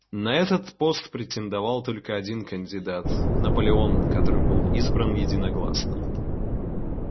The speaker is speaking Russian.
на этот пост претендовал только один кандидат наполеон который был избран единогласно